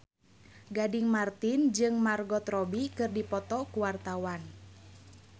Gading Marten jeung Margot Robbie keur dipoto ku wartawan